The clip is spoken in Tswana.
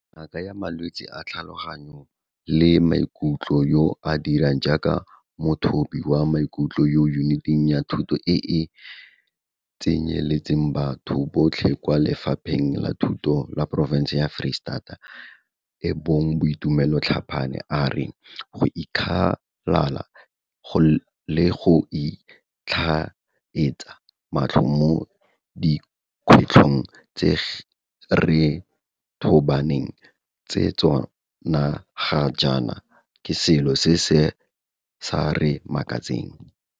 Ngaka ya malwetse a tlhaloganyo le maikutlo yo a dirang jaaka mothobi wa maikutlo mo Yuniting ya Thuto e e Tsenyeletsang Batho Botlhe kwa Lefapheng la Thuto la porofense ya Foreistata e bong Boitumelo Tlhapane, a re go ikgalala le go itlhaetsa matlho mo dikgwetlhong tse re tobaneng le tsona ga jaana ke selo se se sa re makatseng.